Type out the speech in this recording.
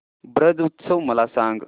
ब्रज उत्सव मला सांग